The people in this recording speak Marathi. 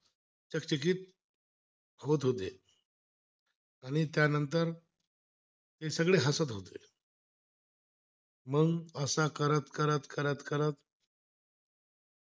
आणि त्यानंत ते सगळे हसत होते मग असं करत करत करत करत